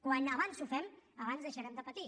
quan abans ho fem abans deixarem de patir